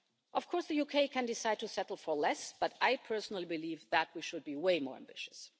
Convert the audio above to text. Of course, the UK can decide to settle for less, but I personally believe that we should be way more ambitious.